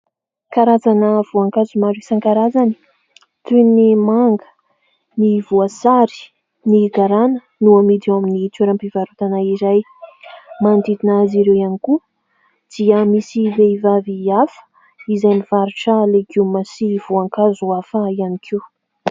Karazana voankazo maro isankarazany toy : ny manga, ny voasary, ny garana no amidy ao amin'ny toeram-pivarotana iray. Manodidina azy ireo ihany koa dia misy vehivavy hafa izay mivarotra legioma sy voankazo hafa ihany koa.